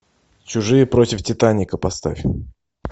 чужие против титаника поставь